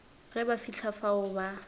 ge ba fihla fao ba